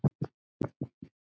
Og þykir enn.